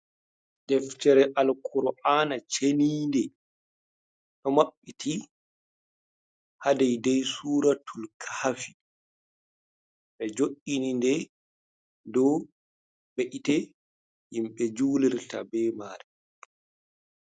Deftere Alkur'ana ceninde ɗo maɓɓiti ha daidai suratul kahafi. Ɓe jo’ini nde dou be'ite himɓe julirta be mare.